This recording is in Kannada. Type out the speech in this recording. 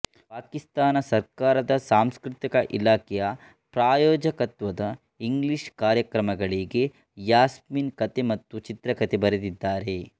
ಪಾಕಿಸ್ತಾನ ಸರ್ಕಾರದ ಸಾಂಸ್ಕೃತಿಕ ಇಲಾಖೆಯ ಪ್ರಾಯೋಜಕತ್ವದ ಇಂಗ್ಲೀಷ್ ಕಾರ್ಯಕ್ರಮಗಳಿಗೆ ಯಾಸ್ಮೀನ್ ಕಥೆ ಮತ್ತು ಚಿತ್ರಕಥೆ ಬರೆದಿದ್ದಾರೆ